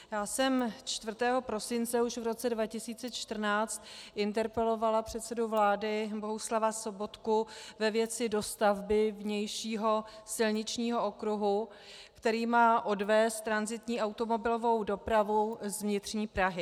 Já jsem 4. prosince už v roce 2014 interpelovala předsedu vlády Bohuslava Sobotku ve věci dostavby vnějšího silničního okruhu, který má odvést tranzitní automobilovou dopravu z vnitřní Prahy.